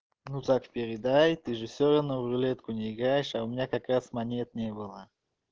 ну так и передай ты же всё равно в рулетку не играешь а у меня как раз монет не было